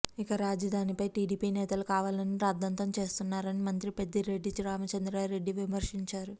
ఇక రాజధానిపై టీడీపీ నేతలు కావాలనే రాద్ధాంతం చేస్తున్నారని మంత్రి పెద్దిరెడ్డి రామచంద్రారెడ్డి విమర్శించారు